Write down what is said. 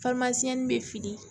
bɛ fili